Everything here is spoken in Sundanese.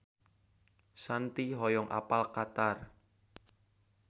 Shanti hoyong apal Qatar